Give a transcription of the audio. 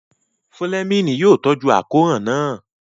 Fúlẹ́mìnì yóò tọ́jú àkóràn náà